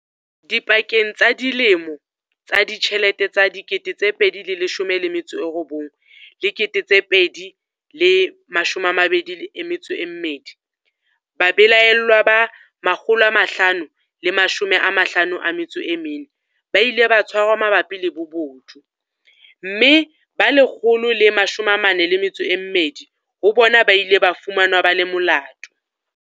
Dipakeng tsa dilemo tsa ditjhelete tsa 2019 le 2022, babelaellwa ba 554 ba ile ba tshwarwa mabapi le bobodu, mme ba 142 ho bona ba ile ba fumanwa ba le molato.